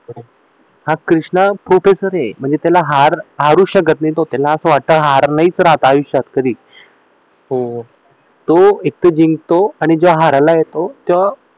हा कृष्णा प्रोकेसर एकदम म्हणजे त्याला हरवू शकत नाही त्याला असं वाटतं नाहीच तो एकतर जिंकतो आणि जो हरायला येतो तेव्हा